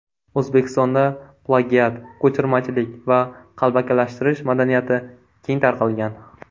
O‘zbekistonda plagiat, ko‘chirmachilik va qalbakilashtirish madaniyati keng tarqalgan.